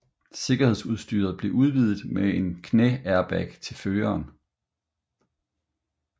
Sikkerhedsudstyret blev udvidet med en knæairbag til føreren